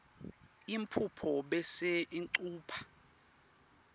yimphuphu bese ucupha